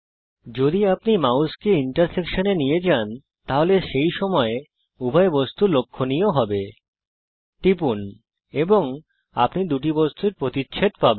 যখন আপনি মাউসকে প্রতিচ্ছেদ অর্থাত ইন্টারসেক্সন এ নিয়ে যান তখন সেই সময়ে উভয় বস্তু লক্ষণীয হবে টিপুন এবং আপনি দুটি বস্তুর প্রতিচ্ছেদ পাবেন